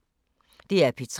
DR P3